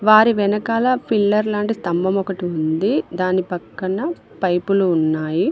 వారి వెనకాల పిల్లర్ లాంటి స్తంభం ఒకటి ఉంది దాన్ని పక్కన పైపులు ఉన్నాయి.